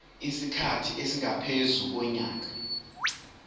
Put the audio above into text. isikhathi esingaphezu konyaka